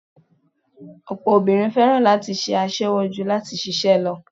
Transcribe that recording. Ọ̀pọ̀ obìnrin fẹ́ràn láti ṣe aṣẹwó ju láti ṣiṣẹ́ lọ